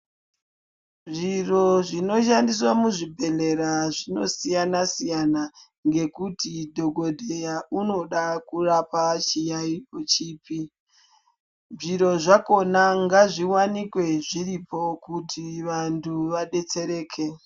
Zviro zvinoshandiswa muzvibhedhlera zvinosiyana siyana ngekuti dhokodheya unoda kurapa chiyayiyo chipi zviro zvakona ngazviwanikwe zviripo kuti wandu vabetsereke.